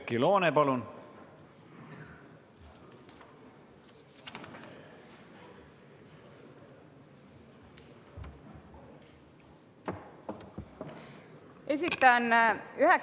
Oudekki Loone, palun!